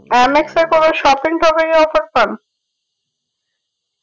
MX এ কোনো shopping topping এ offer পান